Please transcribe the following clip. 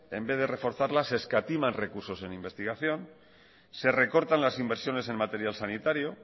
en vez de reforzarlas se escatima recursos en investigación se recortan las inversiones en material sanitario